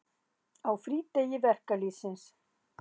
Á frídegi verkalýðsins.